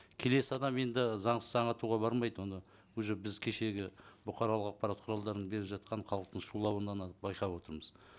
келесі адам енді заңсыз аң атуға бармайды оны уже біз кешегі бұқаралық ақпарат құралдарының беріп жатқан халықтың шулауынан ақ байқап отырмыз